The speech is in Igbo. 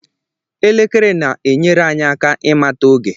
Elekere na-enyere anyị aka ịmata oge